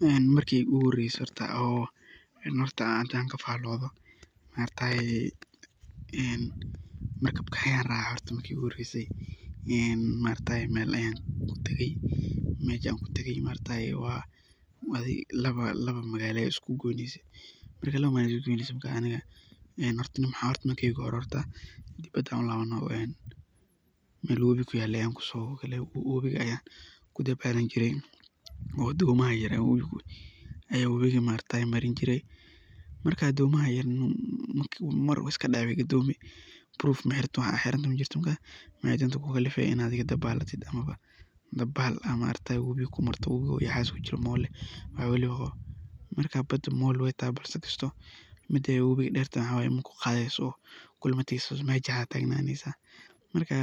Een marki igu horese oo arintan aan kafalodha ,maaragtaye markabka ayaan raca ee mel ayan kutage adhiga laba magalo ayey isku goynese ,marka aniga dibada ayan u labanaya ayan oga mel wabi kuyalo ayan kudabalan jiray oo domaa yaryar ayaa wabiga imarini jiray, marka dhomaha yaryar wey iska dhici ama iska gadomi proof majirto wax aad xirantahay majirto ,adhiga dabalatid oo dabal aad wabiga kumarto uu wabiga u yahas u kujiroo oo mool ah ,marka badaa mool wey tahay kisto midey wabiga dertahay maxa waye makuqadeso ,kulama tageso oo mejadas aa tagnanesa marka